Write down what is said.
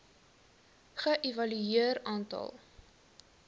ge evalueer aantal